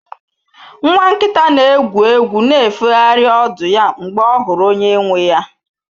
Nwa nkita na-egwu egwu na-efegharị ọdụ ya mgbe ọ hụrụ onye nwe ya